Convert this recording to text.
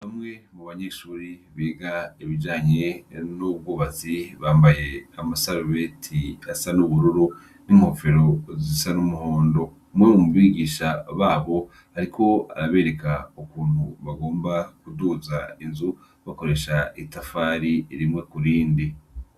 Bamwe mu banyeshure biga ibijanye n'ubwubatsi bambaye amasarubeti asa n'ubururu n'inkofero zisa n'umuhondo. Umwe mu bigisha babo ariko arabereka ukuntu bagomba kuduza inzu bakoresha itafari rimwe ku rindi